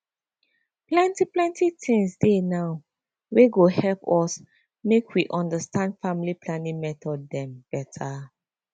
plenty plenty things dey now wey go help us make we understand family planning method dem beta